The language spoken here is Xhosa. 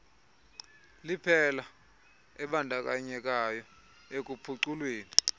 liphela abandakanyekayo ekuphuculweni